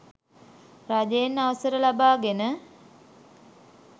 රජයෙන් අවසර ලබාගෙන